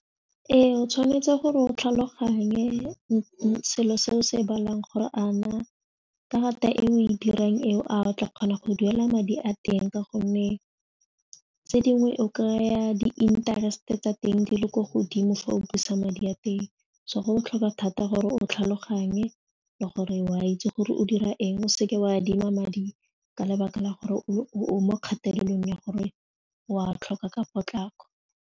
Ee, o tshwanetse gore o tlhaloganye selo se o se e balang gore a na karata e o e dirang ao a o tla kgona go duela madi a teng ka gonne tse dingwe o kry-a di-interest-e tsa teng di le ko godimo fa o busa madi a teng so go botlhokwa thata gore o tlhaloganye le gore o a itse gore o dira eng o seke wa adima madi ka lebaka la gore o mo kgatelelong ya gore wa tlhoka ka potlako.